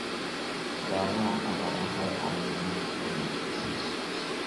Khudradaha cagaaran waxay caawiyaan nafaqo wanaagsan.